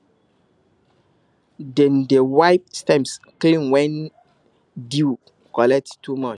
dem dey wipe stems clean when dew collect too much